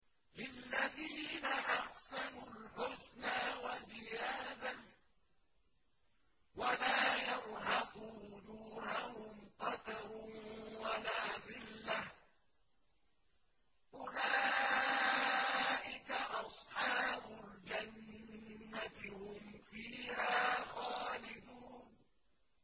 ۞ لِّلَّذِينَ أَحْسَنُوا الْحُسْنَىٰ وَزِيَادَةٌ ۖ وَلَا يَرْهَقُ وُجُوهَهُمْ قَتَرٌ وَلَا ذِلَّةٌ ۚ أُولَٰئِكَ أَصْحَابُ الْجَنَّةِ ۖ هُمْ فِيهَا خَالِدُونَ